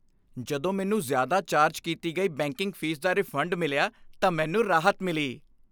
ਜਦੋਂ ਮੈਨੂੰ ਜ਼ਿਆਦਾ ਚਾਰਜ ਕੀਤੀ ਗਈ ਬੈਂਕਿੰਗ ਫੀਸ ਦਾ ਰਿਫੰਡ ਮਿਲਿਆ ਤਾਂ ਮੈਨੂੰ ਰਾਹਤ ਮਿਲੀ।